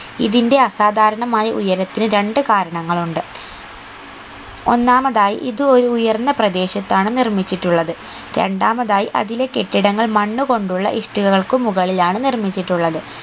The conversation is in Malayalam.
ഇതിന്റെ അസാധാരണമായ ഉയരത്തിന് രണ്ട് കാരണങ്ങൾ ഉണ്ട് ഒന്നാമതായി ഇത് ഒരു ഉയർന്ന പ്രദേശത്താണ് നിർമ്മിച്ചിട്ടൂള്ളത് രണ്ടാമതായി അതിലെ കെട്ടിടങ്ങൾ മണ്ണുകൊണ്ടുള്ള ഇഷ്ടികൾക്ക് മുകളിലാണ് നിർമ്മിച്ചിട്ടുള്ളത്